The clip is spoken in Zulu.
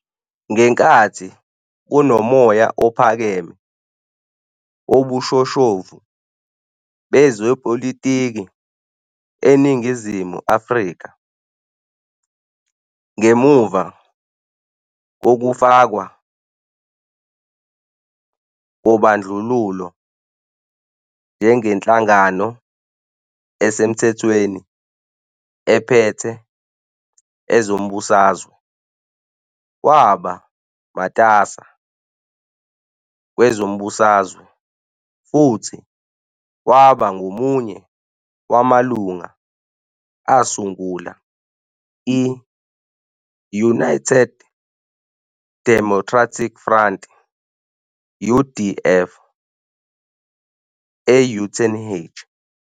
Ngenkathi kunomoya ophakeme wobushoshovu bezepolitiki eNingizimu Afrika, ngemuva kokufakwa kobandlululo njengenhlangano esemthethweni ephethe ezombusazwe, waba matasa kwezombusazwe futhi waba ngomunye wamalungu asungula i-United Democratic Front, UDF, e-Uitenhage.